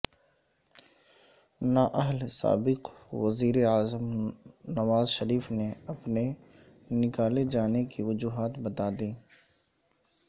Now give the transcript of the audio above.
نااہل سابق وزیر اعظم نوز شریف نے اپنے نکالے جانے کی وجوہات بتادیں